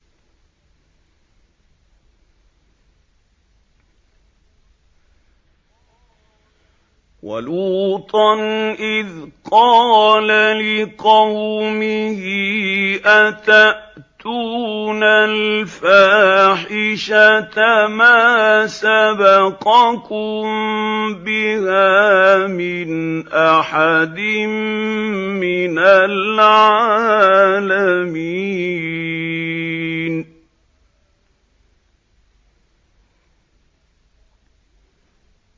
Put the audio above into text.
وَلُوطًا إِذْ قَالَ لِقَوْمِهِ أَتَأْتُونَ الْفَاحِشَةَ مَا سَبَقَكُم بِهَا مِنْ أَحَدٍ مِّنَ الْعَالَمِينَ